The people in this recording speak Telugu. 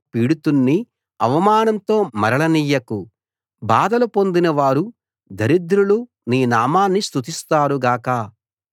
పీడితుణ్ణి అవమానంతో మరలనియ్యకు బాధలు పొందినవారు దరిద్రులు నీ నామాన్ని స్తుతిస్తారు గాక